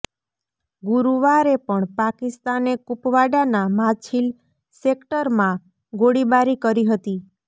ગુરુવારે પણ પાકિસ્તાને કુપવાડાના માછિલ સેક્ટરમાં ગોળીબારી કરી હતી